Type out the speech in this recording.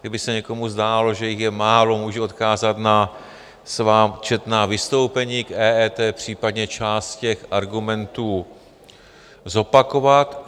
Kdyby se někomu zdálo, že jich je málo, můžu odkázat na svá četná vystoupení k EET, případně část těch argumentů zopakovat.